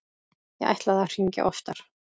Ég ætlaði að hringja oftar.